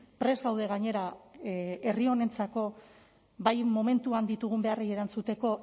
prest gaude gainera herri honentzako bai momentuan ditugun beharri erantzuteko